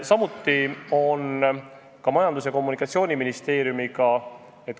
Samuti on Majandus- ja Kommunikatsiooniministeeriumiga.